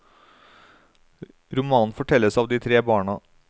Romanen fortelles av de tre barna.